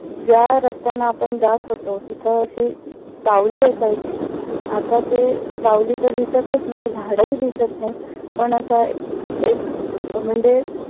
ज्या रस्त्यांना आपण जात होतो. तिथ अशी सावली असायची आता ते सावली तर दिसतच नाही झाडं हि दिसत नाही. पण आत्ता एक अह म्हणजे